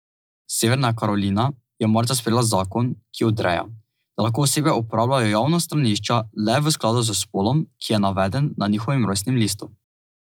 Severna Karolina je marca sprejela zakon, ki odreja, da lahko osebe uporabljajo javna stranišča le v skladu s spolom, ki je naveden na njihovem rojstnem listu.